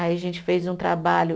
Aí a gente fez um trabalho